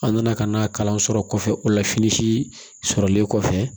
An nana ka na kalan sɔrɔ kɔfɛ o la fini sɔrɔlen kɔfɛ